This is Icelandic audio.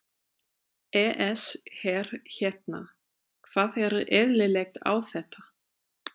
ES Hver hérna. hvað er eðlilegt á þetta?